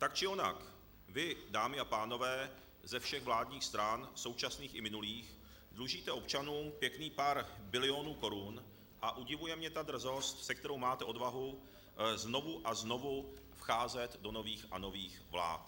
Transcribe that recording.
Tak či onak vy, dámy a pánové ze všech vládních stran současných i minulých, dlužíte občanům pěkných pár bilionů korun, a udivuje mě ta drzost, s kterou máte odvahu znovu a znovu vcházet do nových a nových vlád.